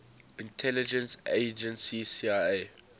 intelligence agency cia